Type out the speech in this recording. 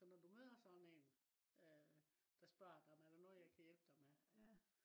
så når du møder sådan en øh der spørg dig. er der noget jeg kan hjælpe dig med?